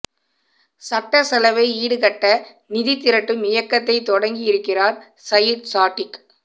சட்ட செலவை ஈடுகட்ட நிதிதிரட்டும் இயக்கத்தை தொடங்கியிருக்கிறார் சயிட் சாடிக்